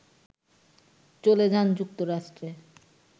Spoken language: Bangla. চলে যান যুক্তরাষ্ট্রে